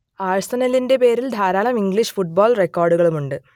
ആഴ്സണലിന്റെ പേരിൽ ധാരാളം English football റെക്കാർഡുകളുമുണ്ട്